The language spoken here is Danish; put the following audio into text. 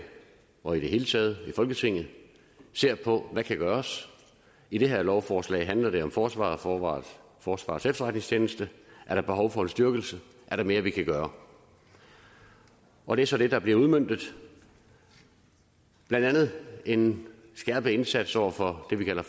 og i det hele taget i folketinget ser på hvad der kan gøres i det her lovforslag handler det om forsvaret og forsvarets efterretningstjeneste er der behov for en styrkelse er der mere vi kan gøre og det er så det der bliver udmøntet blandt andet en skærpet indsats over for det vi kalder